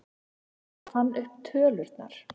Hver fann upp tölurnar?